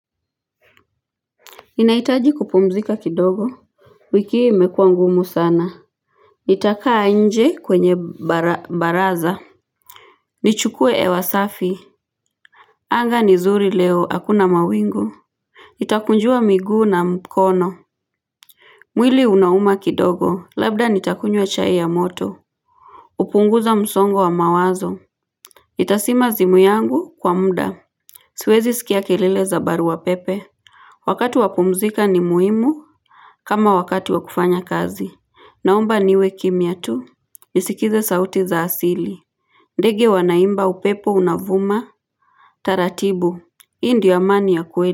Inaitaji kupumzika kidogo wiki imekua ngumu sana nitakaa nje kwenye baraza nichukue hewa safi anga ni zuri leo hakuna mawingu nitakunjua miguu na mkono mwili unauma kidogo labda nitakunywe chai ya moto upunguza msongo wa mawazo nitasima zimu yangu kwa mda siwezi skia kelele za barua pepe wakati wapumzika ni muhimu kama wakati wa kufanya kazi Naomba niwe kimya tu nisikize sauti za asili ndege wanaimba upepo unavuma taratibu Hii ndio amani ya kweli.